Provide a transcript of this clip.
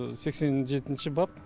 сексен жетінші бап